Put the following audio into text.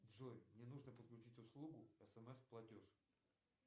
джой мне нужно подключить услугу смс платеж